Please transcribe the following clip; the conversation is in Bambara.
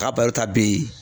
K'a ta bi